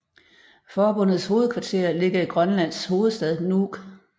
Forbundets hovedkvarter ligger i Grønlands hovedstad Nuuk